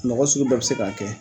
Mɔgɔ sugu bɛɛ bɛ se k'a kɛ